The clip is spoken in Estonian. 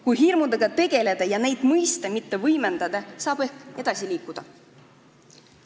Kui hirmudega tegeleda ja neid mõista, mitte võimendada, saab ehk edasi liikuda.